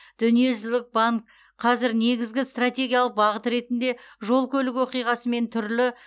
дүниежүзілік банк қазір негізгі стратегиялық бағыт ретінде жол көлік оқиғасымен түрлі